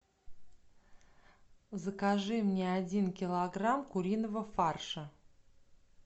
закажи мне один килограмм куриного фарша